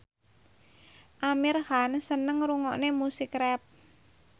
Amir Khan seneng ngrungokne musik rap